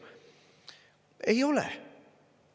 Ei ole!